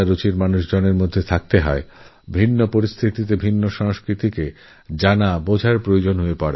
তাঁদের ভিন্ন ভিন্ন পরিস্থিতি এবং আলাদা আলাদা সংস্কৃতি জানতে বুঝতে হয়